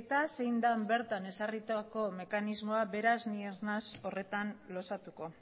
eta zein den bertan ezarritako mekanismoa beraz ni ez naiz horretan luzatuko